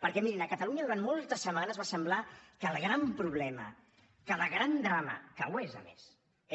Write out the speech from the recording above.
perquè mirin a catalunya durant moltes setmanes va semblar que el gran problema que el gran drama que ho és a més